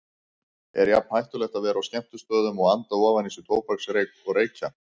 Er jafn hættulegt að vera á skemmtistöðum og anda ofan í sig tóbaksreyk og reykja?